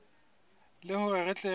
le hore re tle re